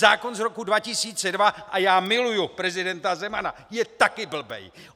Zákon z roku 2002 - a já miluju prezidenta Zemana - je taky blbej!